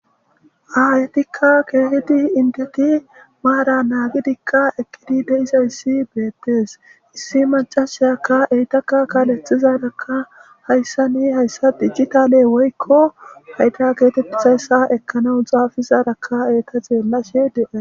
Aayetikka keehidi indeti maara naagidikka ekkidi deisayssi beettees issi macashayakka eytakka kaaletizarakka hayssa ni hayssa digitale woykko hayda geetephisayssa ekkanau xaafizarakka eeta xeellashe dee